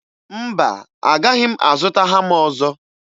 Mba, agahị m azụta hama ọzọ.